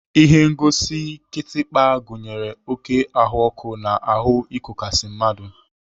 Ihengosi kịtịkpa gụnyere oké ahụọkụ na ahụ ịkọkasi mmadụ.